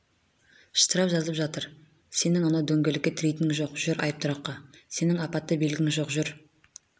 штраф жазып жатыр сенің анау дөңгелекке тірейтінің жоқ жүр айыптұраққа сенің апатты белгің жоқ жүр